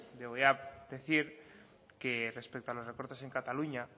le voy a decir que respecto a los recortes en cataluña